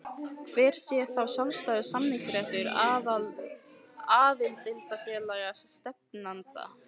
Hver sé þá sjálfstæður samningsréttur aðildarfélaga stefnanda?